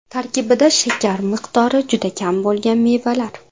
Tarkibida shakar miqdori juda kam bo‘lgan mevalar.